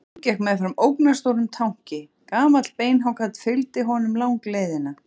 Jón gekk meðfram ógnarstórum tanki, gamall beinhákarl fylgdi honum langleiðina.